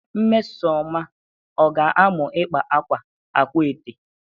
Nmesoma ọ ga-amụ ịkpa akwa akwaete?